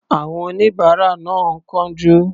Àwọn oníbàárà náà ń kánjú.